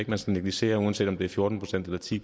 man skal negligere uanset om det er fjorten procent eller ti